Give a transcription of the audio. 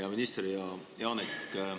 Hea minister Janek!